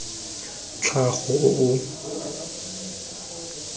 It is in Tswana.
tlhago o o tswang mo